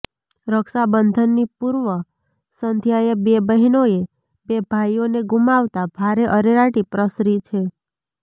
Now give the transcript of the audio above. રક્ષાબંધનની પૂર્વ સંધ્યાએ બે બહેનોએ બે ભાઈઓને ગૂમાવતા ભારે અરેરાટી પ્રસરી છે